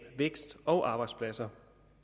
vækst og arbejdspladser